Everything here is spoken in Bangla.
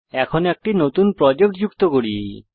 এখন একটি নতুন প্রজেক্ট যুক্ত করি